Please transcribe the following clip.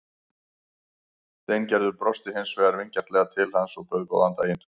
Steingerður brosti hins vegar vingjarnlega til hans og bauð góðan daginn.